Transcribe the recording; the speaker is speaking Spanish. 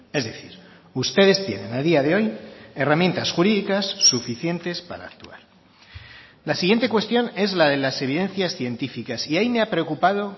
es decir ustedes tienen a día de hoy herramientas jurídicas suficientes para actuar la siguiente cuestión es la de las evidencias científicas y ahí me ha preocupado